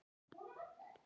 Það komu vöflur á mömmu.